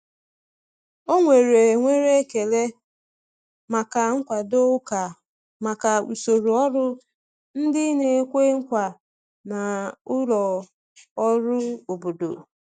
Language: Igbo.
Ọ nwere nwere ekele maka nkwado ụka maka usoro ọrụ ndị na-ekwe nkwa na ụlọ ọrụ obodo.